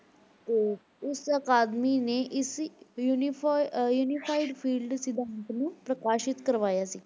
ਤੇ ਉਸ ਅਕਾਦਮੀ ਨੇ ਇਸ unifie~ ਅਹ unified field ਸਿਧਾਂਤ ਨੂੰ ਪ੍ਰਕਾਸ਼ਿਤ ਕਰਵਾਇਆ ਸੀ।